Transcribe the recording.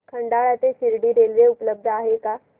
खंडाळा ते शिर्डी रेल्वे उपलब्ध आहे का